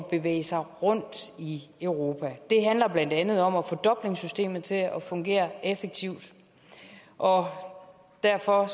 bevæge sig rundt i europa det handler blandt andet om at få dublinsystemet til at fungere effektivt og derfor